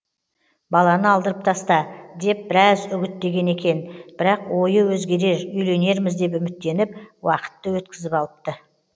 баланы алдырып таста деп біраз үгіттеген екен бірақ ойы өзгерер үйленерміз деп үміттеніп уақытты өткізіп алыпты